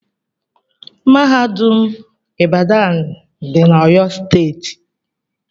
Mahadum ibadan dị na oyo steeti.